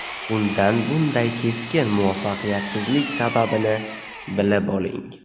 Undan bunday keskin muvaffaqiyatsizlik sababini bilib oling.